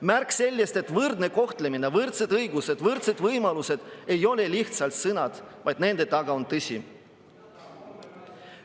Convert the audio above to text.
Märk sellest, et võrdne kohtlemine, võrdsed õigused, võrdsed võimalused ei ole lihtsalt sõnad, vaid nende taga on tõde.